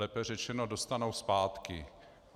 Lépe řečeno dostanou zpátky.